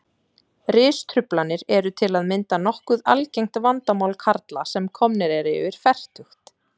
Ristruflanir eru til að mynda nokkuð algengt vandamál karla sem komnir eru yfir fertugt.